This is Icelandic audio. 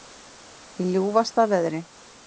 Í ljúfasta veðri